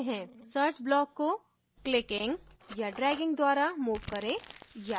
search block को clicking या dragging द्वारा move करें या